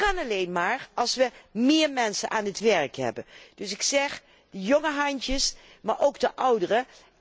Dat kan alleen maar als we meer mensen aan het werk hebben. Dus ik zeg jonge handen, maar ook de ouderen.